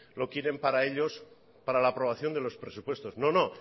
lo quieren para ellos para la aprobación de los presupuestos no no